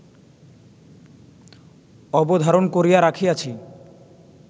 অবধারণ করিয়া রাখিয়াছি